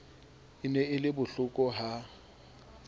e ne e le bohlokoha